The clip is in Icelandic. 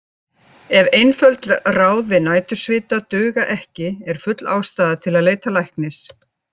Ef einföld ráð við nætursvita duga ekki er full ástæða til að leita læknis.